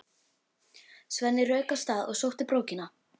Svenni rauk af stað og sótti brókina.